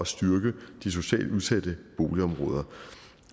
styrke de socialt udsatte boligområder